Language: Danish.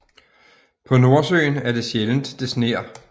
På Nordøen er det sjældent det sner